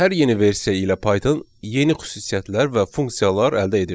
Hər yeni versiya ilə Python yeni xüsusiyyətlər və funksiyalar əldə edirdi.